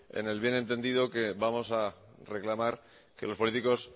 en el bien entendido que vamos a reclamar que los políticos